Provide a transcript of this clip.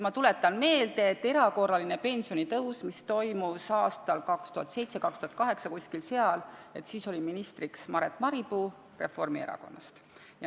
Ma tuletan meelde, et kui toimus erakorraline pensionitõus aastal 2007 või 2008 – kuskil seal –, siis oli ministriks Maret Maripuu Reformierakonnast.